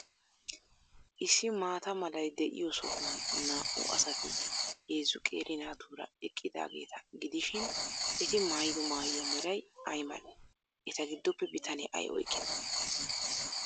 Issi maata malay de'iyo sohuwan naa''u asati heezzu qeeri naatuura eqqidaageeta gidishin, eti maayido maayuwa meray ay malee? Eta giddoppe bitanee ay oyqqidee?